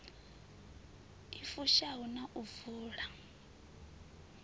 i fushaho na u vula